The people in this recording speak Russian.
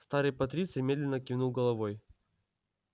старый патриций медленно кивнул головой